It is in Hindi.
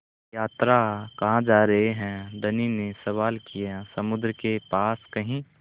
यात्रा कहाँ जा रहे हैं धनी ने सवाल किया समुद्र के पास कहीं